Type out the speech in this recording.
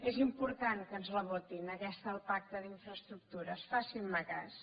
és important que ens la votin aquesta del pacte d’infraestructures facin me cas